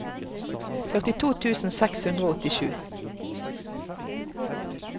førtito tusen seks hundre og åttisju